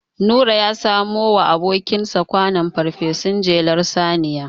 Nura ya samowa abokinsa kwanon farfesun jelar saniya.